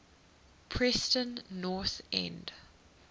preston north end